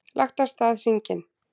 Lagt af stað hringinn